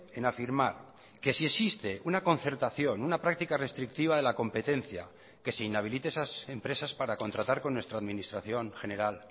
en afirmar que si existe una concertación una práctica restrictiva de la competencia que se inhabilite esas empresas para contratar con nuestra administración general